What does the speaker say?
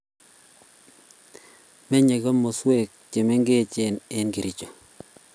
Menye komoswek chemengech eng Kericho